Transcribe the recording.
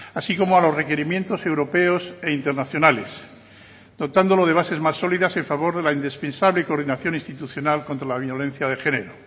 así como a los requerimientos europeos e internacionales dotándolo de bases más sólidas en favor de la indispensable y coordinación institucional contra la violencia de género